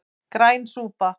Græn súpa